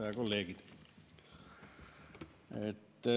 Head kolleegid!